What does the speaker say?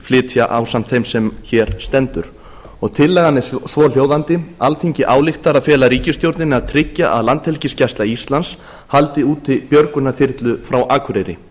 flytja ásamt þeim sem hér stendur tillagan er svohljóðandi alþingi ályktar að fela ríkisstjórninni að tryggja að landhelgisgæsla íslands haldi úti björgunarþyrlu frá akureyri